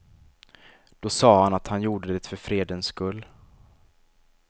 Då sa han att han gjorde det för fredens skull.